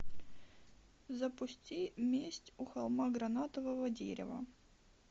запусти месть у холма гранатового дерева